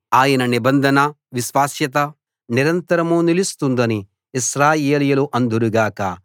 ఆయన నిబంధన విశ్వాస్యత నిరంతరం నిలుస్తుందని ఇశ్రాయేలీయులు అందురు గాక